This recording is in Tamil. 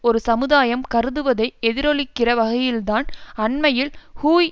ஒரு சமுதாயம் கருதுவதை எதிரொலிக்கிற வகையில்தான் அண்மையில் ஹூய்